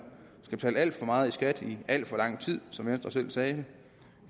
skal betale alt for meget i skat i alt for lang tid som venstre selv sagde